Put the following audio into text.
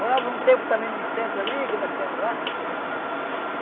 Morávamos um tempo também num centro ali que nós temos lá.